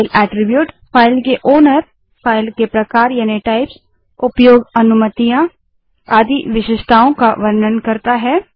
file attribute file के मालिक file के प्रकार उपयोग अनुमतियाँ आदि विशेषताओं का वर्णन करता है